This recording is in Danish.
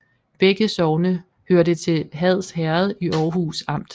Begge sogne hørte til Hads Herred i Aarhus Amt